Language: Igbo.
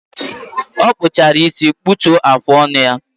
O kpuchara ísì, kputuo afọ ọṅụ ya